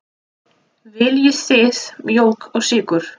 Viljið þið mjólk og sykur?